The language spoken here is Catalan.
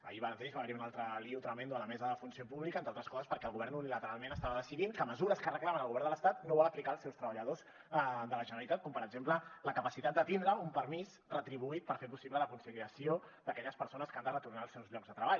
ahir mateix va haver hi un altre lio tremendo a la mesa de funció pública entre altres coses perquè el govern unilateralment estava decidint que mesures que reclamen al govern de l’estat no vol aplicar als seus treballadors de la generalitat com per exemple la capacitat de tindre un permís retribuït per fer possible la conciliació d’aquelles persones que han de retornar als seus llocs de treball